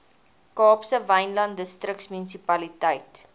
kaapse wynland distriksmunisipaliteit